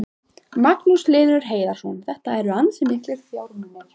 Magnús Hlynur Hreiðarsson: Þetta eru ansi miklir fjármunir?